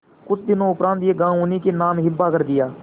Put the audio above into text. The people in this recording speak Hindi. कुछ दिनों उपरांत यह गॉँव उन्हीं के नाम हिब्बा कर दिया